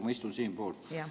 Ma istun siinpool!